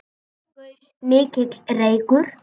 Upp gaus mikill reykur.